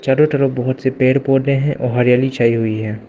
चारों तरफ बहोत से पेड़ पौधे है और हरियाली छाई हुई है।